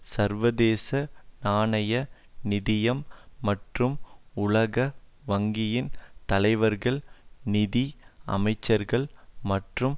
சர்வதேச நாணய நிதியம் மற்றும் உலக வங்கியின் தலைவர்கள் நிதி அமைச்சர்கள் மற்றும்